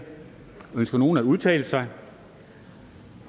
ønsker nogen at udtale sig